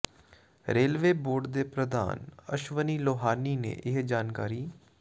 railway board ਦੇ ਪ੍ਰਧਾਨ ਅਸ਼ਵਨੀ ਲੋਹਾਨੀ ਨੇ ਇਹ ਜਾਣਕਾਰੀ